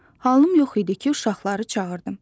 Halım yox idi ki, uşaqları çağırdım.